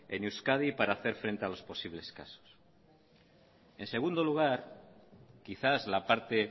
en euskadi para hacer frente a los posibles casos en segundo lugar quizás la parte